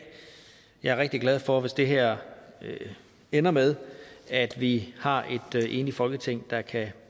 jeg er rigtig glad for hvis det her ender med at vi har et enigt folketing der kan